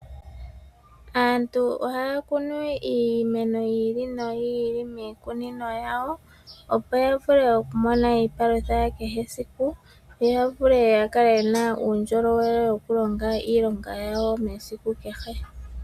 Aantu ohaya kunu iimeno yi ili noyi ili miikunino yawo opo yavule okumona iipalutha ya kehe esiku noya vule yakale yena uundjolowele woku longa iilonga yawo mesiku kehe.